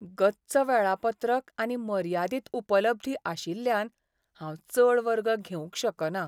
गच्च वेळापत्रक आनी मर्यादीत उपलब्धी आशिल्ल्यान हांव चड वर्ग घेवंक शकना.